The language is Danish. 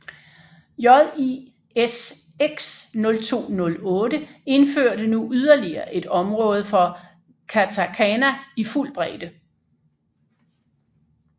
JIS X 0208 indførte nu yderligere et område for katakana i fuld bredde